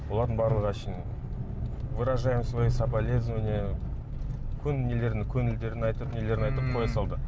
олардың барлығы әншейін выражаем свои соболезнования көңілдерін айтып нелерін айтып қоя салды